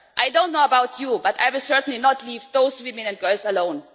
I don't know about you but I will certainly not leave those women and girls alone.